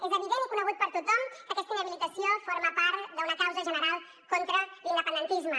és evident i conegut per tothom que aquesta inhabilitació forma part d’una causa general contra l’independentisme